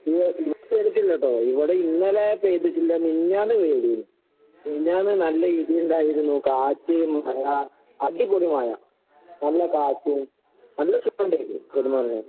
ഇവടെ ഇവടെ പെയ്തിട്ടില്ലട്ടോ. ഇവടെ ഇന്നലെ പെയ്തിട്ടില്ല. മിനിഞ്ഞാന്ന് പെയ്തീന്. മിനിഞ്ഞാന്ന് നല്ല ഇടിയിണ്ടായിരുന്നു കാറ്റ്, മഴ, അടിപൊളി മഴ. നല്ല കാറ്റും, നല്ല സുഖം ഇണ്ടേരുന്നു കെടന്നൊറങ്ങാന്‍.